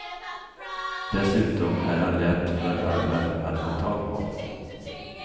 Dessutom är han lätt för alla att få tag på.